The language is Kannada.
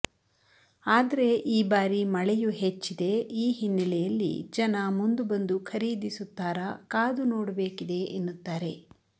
ಆದರೆ ಈ ಬಾರಿ ಮಳೆಯು ಹೆಚ್ಚಿದೆ ಈ ಹಿನ್ನಲೆಯಲ್ಲಿ ಜನ ಮುಂದು ಬಂದು ಖರೀದಿಸುತ್ತಾರ ಕಾದು ನೋಡುಬೇಕಿದೆ ಎನ್ನುತ್ತಾರೆ